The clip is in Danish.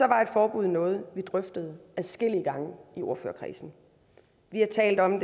var et forbud noget vi drøftede adskillige gange i ordførerkredsen vi har talt om